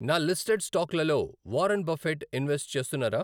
నా లిస్టెడ్ స్టాక్లలో Warren Buffett invest చేస్తున్నారా?